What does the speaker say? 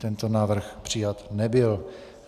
Tento návrh přijat nebyl.